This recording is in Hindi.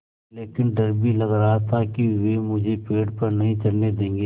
लेकिन डर भी लग रहा था कि वे मुझे पेड़ पर नहीं चढ़ने देंगे